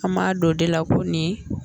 An b'a dɔn o de la ko nin ye